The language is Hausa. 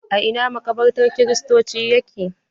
A ina maƙabartan kiristoci yake?